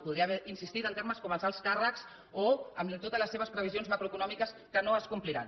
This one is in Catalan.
podria haver insistit en temes com els alts càrrecs o en totes les seves previsions macroeconòmiques que no es compliran